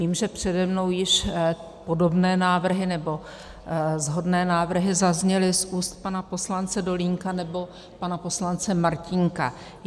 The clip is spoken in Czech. Vím, že přede mnou již podobné návrhy, nebo shodné návrhy zazněly z úst pana poslance Dolínka nebo pana poslance Martínka.